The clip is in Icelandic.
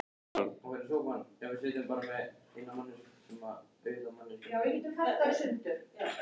á hæð, sem tók jafnlangt fram og stoðirnar.